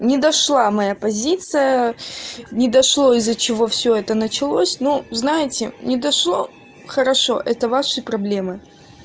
не дошла моя позиция не дошло из-за чего всё это началось но знаете не дошло хорошо это ваши проблемы